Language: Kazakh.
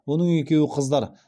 оның екеуі қыздар